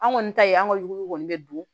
An kɔni ta ye an ka yuguw kɔni bɛ don